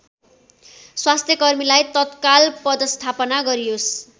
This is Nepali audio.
स्वास्थ्यकर्मीलाई तत्काल पदश्थापना गरियोस्